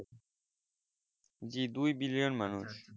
যে দুই billion মানুষ